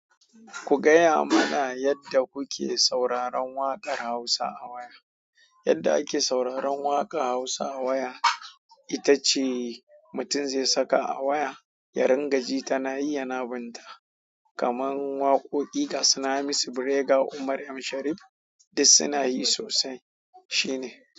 Ku gaya mana yadda kuke sauraron waƙar Hausa a waya. Yadda ake sauraron waƙar Hausa a waya, ita ce mutum zai saka a waya, ya ringa ji tana yi yana bin ta. Kamar waƙoƙi ga su na Hamisu, Brega, Umar M Sharif duk suna yi sosai. Shine.